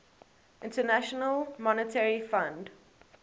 international monetary fund